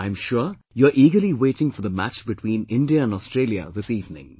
I am sure you are eagerly waiting for the match between India and Australia this evening